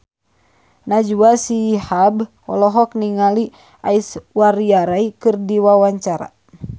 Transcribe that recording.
Najwa Shihab olohok ningali Aishwarya Rai keur diwawancara